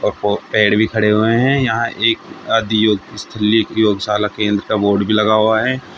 अ प पेड़ भी खड़े हुए हैं यहां एक आदियोगस्थली योग शाला केंद्र का बोर्ड भी लगा हुआ है।